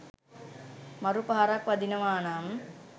මරු පහරක් වදිනවානම්